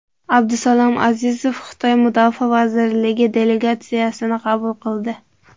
Abdusalom Azizov Xitoy mudofaa vazirligi delegatsiyasini qabul qildi.